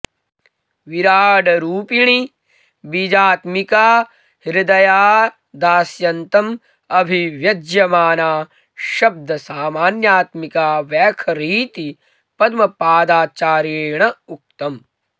विराडरुपिणी बीजात्मिका हृदयादास्यान्तम् अभिव्यज्यमाना शब्दसामान्यात्मिका वैखरीति पद्मपादाचार्येण् उक्तम्